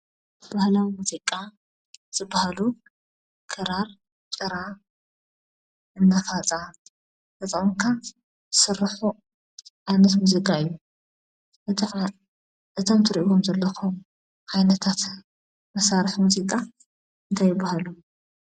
ባህላዊ ሙዚቃ ዝባሃሉ ክራር፣ ጭራ፣ መፋፃ ተጠቒምካ ዝስርሑ ዓይነት ሙዚቃ እዮም፡፡ እቶም ትሪእዎም ዘለኹም ዓይነታት መሳርሒ ሙዚቃ እንታይ ይባሃሉ?